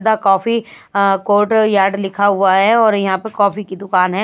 The coffee uh courtyard लिखा हुआ है और यहाँ पर कॉफी की दुकान है।